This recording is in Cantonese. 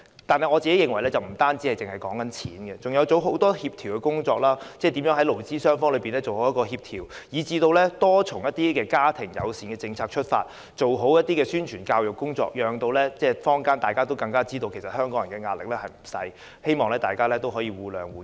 但是，我認為政府不單要付錢，還有很多協調工作要做，例如如何在勞資雙方做好協調，以至多從家庭友善政策出發，做好宣傳教育工作，讓坊間也知道香港人的壓力不小，希望大家也能互諒互讓。